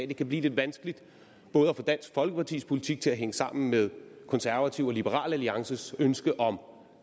det kan blive lidt vanskeligt at få dansk folkepartis politik til både at hænge sammen med konservatives og liberal alliances ønske om